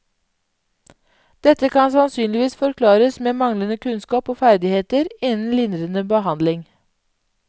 Dette kan sannsynligvis forklares med manglende kunnskap og ferdigheter innen lindrende behandling.